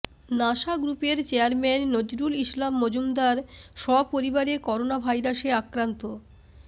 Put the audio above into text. NASA গ্রুপের chairman Nazrul Islam Majumder সপরিবারে করোনাভাইরাসে আক্রান্ত